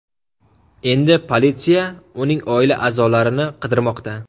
Endi politsiya uning oila a’zolarini qidirmoqda.